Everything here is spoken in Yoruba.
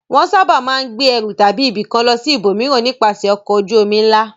Wọ́n sábà máa ń gbé ẹrù láti ibìkan lọ sí ibòmíràn nípasẹ̀ ọkọ̀ ojú-omi ńlá.